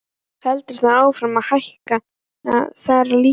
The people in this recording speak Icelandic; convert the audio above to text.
Heldur það áfram að hækka þar líka?